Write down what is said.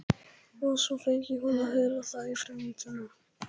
Og svo fengi hún að heyra það í frímínútunum.